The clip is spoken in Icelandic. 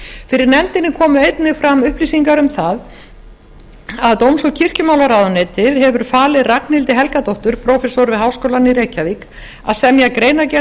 fyrir nefndinni komu fram upplýsingar um að dóms og kirkjumálaráðuneytið hefði falið ragnhildi helgadóttur prófessor við háskólann í reykjavík að semja greinargerð